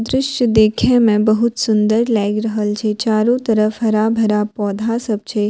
दृश्य देखे में बहुत सुन्दर लायग रहल छे चारो तरफ हरा-भरा पौधा सब छै।